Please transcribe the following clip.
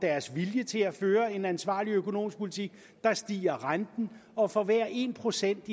viljen til at føre en ansvarlig økonomisk politik stiger renten og for hver en procent